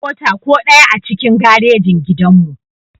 Babu mota ko ɗaya a cikin garejin gidan mu